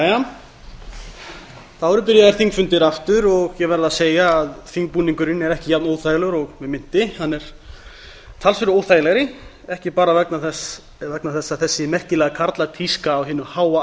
jæja þá eru byrjaðir þingfundir aftur og ég verð að segja að þingbúningurinn er ekki jafn óþægilegur og mig minnti hann er talsvert óþægilegri ekki bara vegna þess að þessi merkilega karlatíska á hinu háa